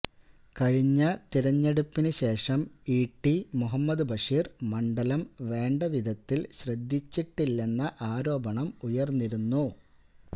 കഴിഞ്ഞ തെരഞ്ഞെടുപ്പിന് ശേഷം ഇടി മുഹമ്മദ് ബഷീര് മണ്ഡലം വേണ്ടവിധത്തില് ശ്രദ്ധിച്ചിട്ടില്ലെന്ന ആരോപണം ഉയര്ന്നിരുന്നു